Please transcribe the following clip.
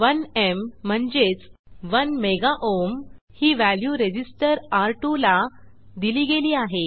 1एम म्हणजेच 1 mega ohm ही value resistor र2 ला दिली गेली आहे